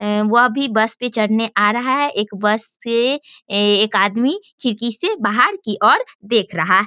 उम वह भी बस पे चढ़ने आ रहा है। एक बस से ए एक आदमी खिड़की से बाहर की और देख रहा --